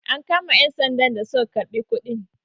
am kama 'yansandan da suka karɓi kudin?